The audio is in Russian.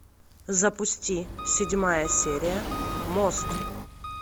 запусти седьмая серия мост